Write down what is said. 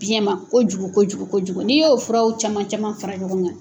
Biyɛn ma kojugu kojugu ko kojugu n'i y'o furaw caman caman fara ɲɔgɔn kan